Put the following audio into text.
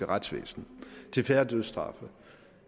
retsvæsen til færre dødsstraffe